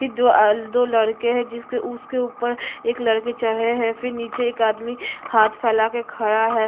फिर दो आ अ दो लड़के है जिसके उसके ऊपर एक लड़के चढ़ा है फिर नीचे एक आदमी हाथ फैला के खड़ा है।